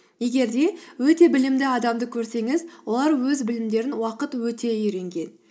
егер де өте білімді адамды көрсеңіз олар өз білімдерін уақыт өте үйренген